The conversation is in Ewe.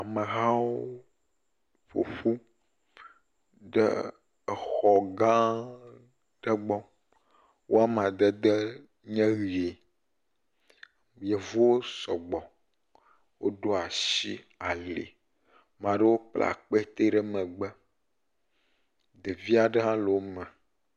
Amehawo ƒo ƒu ɖe xɔ gã aɖe gbɔ wo amadede nye ʋi. Yevuwo sɔgbɔ. Woɖo asi ali. Ame aɖewo kpla akpetɛ ɖe megbe. Ɖevi aɖe hã le wo me.